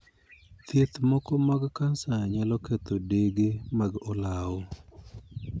Thieth moko mag kansa nyalo ketho dege mag olaw.